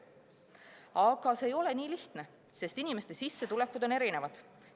Aga see ei ole nii lihtne, sest inimeste sissetulekud on erinevad.